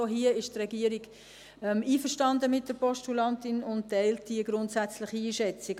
Auch hier ist die Regierung einverstanden mit der Postulantin und teilt die grundsätzliche Einschätzung.